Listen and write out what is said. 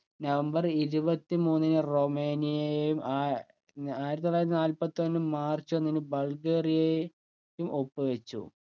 November ഇരുപത്തി മൂന്നിന് റൊമേനിയയും ആയ് ആയിരത്തിത്തൊള്ളായിരത്തി നാൽപ്പത്തൊന്നു മാർച്ച് ഒന്നിന് ബൾഗേറിയെയും ഒപ്പുവെച്ചു